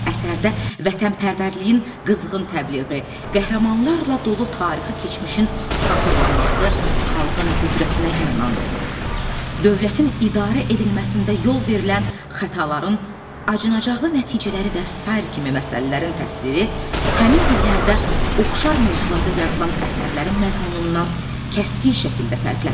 Əsərdə vətənpərvərliyin qızğın təbliği, qəhrəmanlarla dolu tarixi keçmişin xatırlanması, xalqın qüdrətinə inanan, dövlətin idarə edilməsində yol verilən xətaların acınacaqlı nəticələri və sair kimi məsələlərin təsviri həmin illərdə oxşar mövzularda yazılan əsərlərin məzmunundan kəskin şəkildə fərqlənirdi.